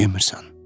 Yemirsən.